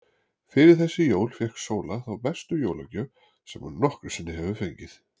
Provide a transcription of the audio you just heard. Fyrir þessi jól fékk Sóla þá bestu jólagjöf sem hún nokkru sinni hefur fengið.